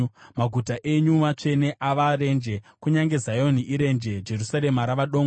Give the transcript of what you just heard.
Maguta enyu matsvene ava renje; kunyange Zioni irenje, Jerusarema rava dongo.